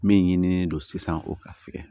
Min ɲinini don sisan o ka fɛrɛ